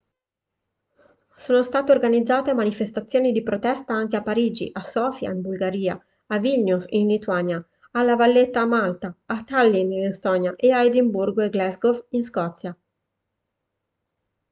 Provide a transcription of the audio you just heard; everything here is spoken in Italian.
sono state organizzate manifestazioni di protesta anche a parigi a sofia in bulgaria a vilnius in lituania a la valletta a malta a tallinn in estonia e a edimburgo e glasgow in scozia